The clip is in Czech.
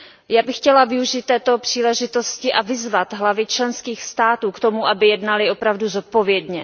Já bych chtěla využít této příležitosti a vyzvat hlavy členských států k tomu, aby jednaly opravdu zodpovědně.